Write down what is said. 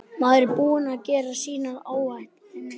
Maður er búinn að gera sínar áætlanir.